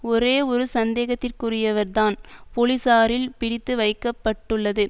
ஒரே ஒரு சந்தேகத்திற்குரியவர்தான் போலீசாரில் பிடித்து வைக்க பட்டுள்ளது